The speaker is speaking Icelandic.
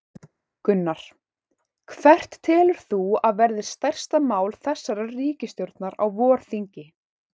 Gunnar: Hvert telur þú að verði stærsta mál þessarar ríkisstjórnar á vorþingi?